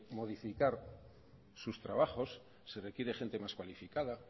modificar sus trabajos se requiere gente más cualificada